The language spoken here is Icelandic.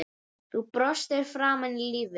Þú brostir framan í lífið.